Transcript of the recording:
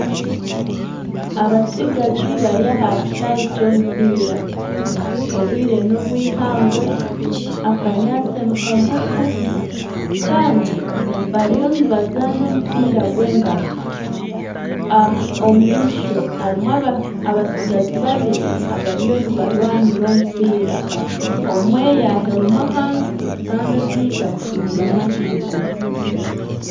Abatsigazi bari aha kishaayi ky'omupiira obwire n'obw'eihangwe akanyaatsi nikagufu kandi bariyo nibazaana omupiira gw'engaro omu maisho harimu abatsigazi babiri abariyo nibarwanira omupiira omwe yahirima ahansi kandi ondiijo amutungami ahaiguru.